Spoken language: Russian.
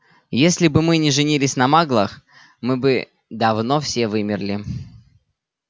если бы мы не женились на маглах мы бы давно все вымерли